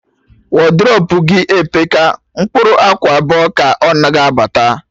Wodrobu gị epeka, mkpụrụ akwa abụọ ka ọ ga anabata